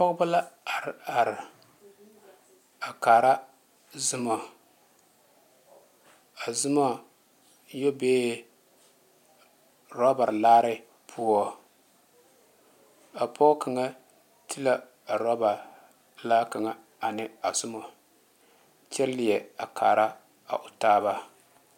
Pɔgeba la are are a kaara zɔmo a zɔmo yɛ bee rubber laare poɔ a pɔge kaŋa ti la a rubber pelaa kaŋa ane a zɔmo kyɛ leɛ a kaara a o taaba .